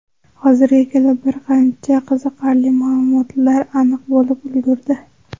Hozirga kelib bir qancha qiziqarli ma’lumotlar aniq bo‘lib ulgurdi.